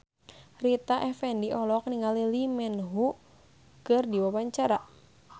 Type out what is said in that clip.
Rita Effendy olohok ningali Lee Min Ho keur diwawancara